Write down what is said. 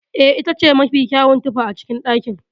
Eh, itace mafi kyawun tufa a cikin ɗakin.